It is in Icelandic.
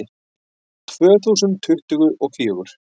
Tvö þúsund tuttugu og fjögur